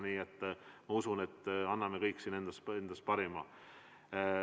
Nii et ma usun, et me anname endast parima.